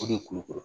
O de ye kulukoro